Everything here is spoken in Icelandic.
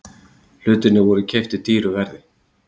Hlutirnir voru keyptir dýru verði.